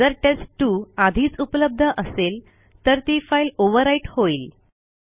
जर टेस्ट2 आधीच उपलब्ध असेल तर ती फाईल ओव्हरराईट होईल